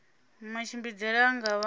matshimbidzele a nga vha nga